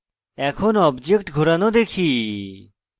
এখন object ঘোরানো দেখি